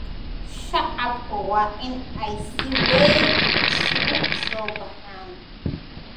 Shacabku waa in ay si weyn isugu soo baxaan.